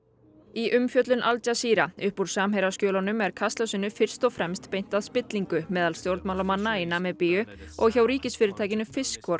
í umfjöllun Al upp úr er kastljósinu fyrst og fremst beint að meintri spillingu meðal stjórnmálamanna í Namibíu og hjá ríkisfyrirtækinu